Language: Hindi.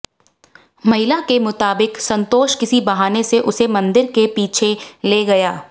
महिला के मुताबिक संतोष किसी बहाने से उसे मंदिर के पीछे ले गया